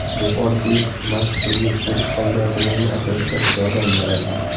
Bu oddiy mashq sizga ko‘rish qobiliyatingizni asrashga yordam beradi.